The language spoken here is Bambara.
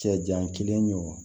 Cɛ jan kelen wo